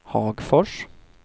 Hagfors